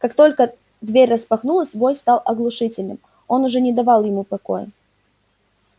как только дверь распахнулась вой стал оглушительным он уже не давал ему покоя